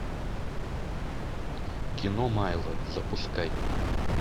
кино майло запускай